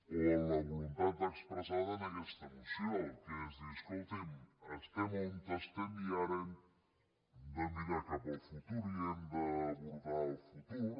o amb la voluntat expressada en aquesta moció que és dir escolti’m estem on estem i ara hem de mirar cap al futur i hem d’abordar el futur